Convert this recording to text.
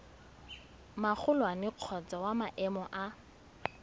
magolwane kgotsa wa maemo a